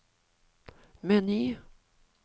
meny